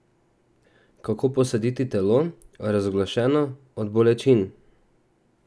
Kako posaditi telo, razglašeno od bolečin?